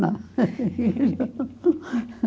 Não.